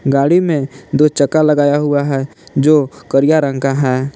गाड़ी में दो चक्का लगाया हुआ है जो करिया रंग का हैं ।